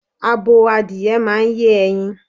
Abo adìye máa ń yé ẹyin.